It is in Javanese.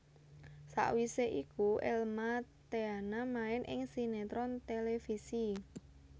Sawisé iku Elma Thena main ing sinetron televisi